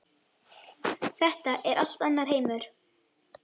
Þetta er allt annar heimur.